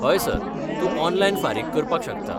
हय, सर, तूं ऑनलायन फारीक करपाक शकता.